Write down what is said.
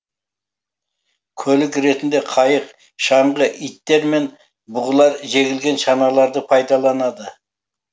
көлік ретінде қайық шаңғы иттер мен бұғылар жегілген шаналарды пайдаланады